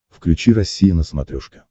включи россия на смотрешке